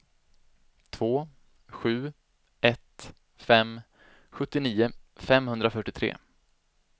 två sju ett fem sjuttionio femhundrafyrtiotre